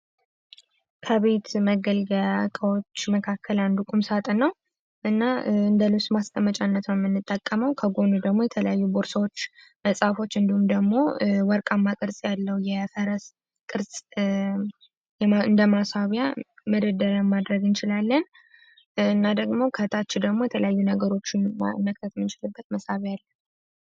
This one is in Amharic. ከቤት መገልገያዎች መካከል አንዱ ሳጥን ነው የምንጠቀመው ከጎኑ ደግሞ የተለያዩ ሰዎች እንዲሁም ደግሞ ወርቅ አማርኛ ያለው የፈረስ እንደ ማሳያ መደርያ ማድረግ እንችላለን ደግሞ ከታች ደግሞ የተለያዩ ነገሮችን መሳሪያው አለው።